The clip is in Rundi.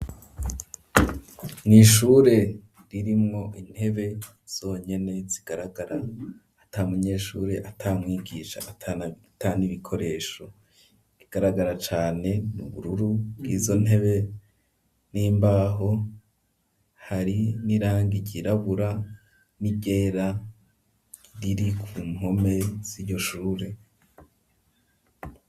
Mw'ishure ririmwo intebe zonyene zigaragara, ata munyeshure, ata mwigisha ata n'ibikoresho; igaragara cane mu bururu bw'izo ntebe n'imbaho, hari n'irangi ryirabura n'iryera, riri ku mpome z'iryo shure.